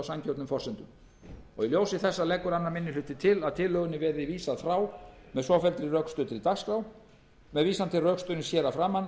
á sanngjörnum forsendum í ljósi þessa leggur annar minni hluti til að tillögunni verði vísað frá með svofelldri rökstuddri dagskrá með leyfi forseta með vísan til rökstuðnings hér að framan